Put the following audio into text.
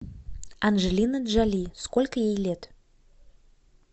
анджелина джоли сколько ей лет